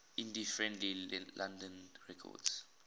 indie friendly london records